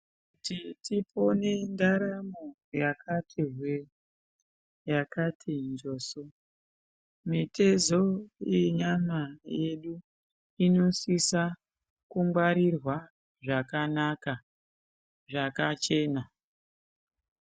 Tipone ndaramo yakati hwe yakati njoso mitezo yenyama yedu inosise kungarirwa zvakanaka, zvakachena.